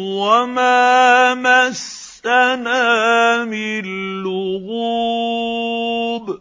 وَمَا مَسَّنَا مِن لُّغُوبٍ